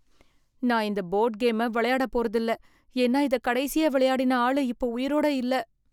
நான் இந்த போர்டு கேமை விளையாட போறது இல்ல. ஏன்னா, இதை கடைசியா விளையாடின ஆளு இப்ப உயிரோட இல்ல.